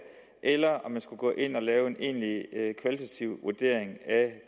eller om man skulle gå ind at lave en egentlig kvalitativ vurdering af